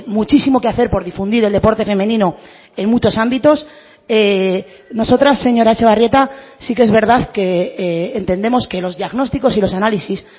muchísimo que hacer por difundir el deporte femenino en muchos ámbitos nosotras señora etxebarrieta sí que es verdad que entendemos que los diagnósticos y los análisis